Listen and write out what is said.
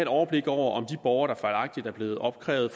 overblik over om de borgere der fejlagtigt at blevet opkrævet